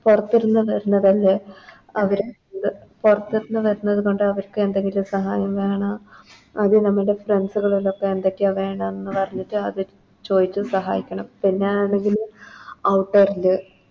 പൊറത്ത് ന്ന് വരണതല്ലേ അവര് പൊറത്ത്ന്ന് വരുന്നത് കൊണ്ട് അവർക്ക് എന്തെങ്കിലും സഹായം വേണം അത് നമ്മുടെ Friends കളല്ലേ അപ്പൊ എന്തൊക്കെയാ വേണ്ടെന്ന് പറഞ്ഞിട്ട് അത് ചോദിച്ച് സഹായിക്കണം